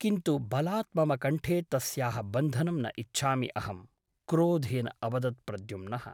किन्तु बलात् मम कण्ठे तस्याः बन्धनं न इच्छामि अहम्' क्रोधेन अवदत् प्रद्युम्नः ।